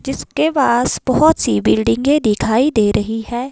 जिसके पास बहोत सी बिल्डिंगे दिखाई दे रही हैं।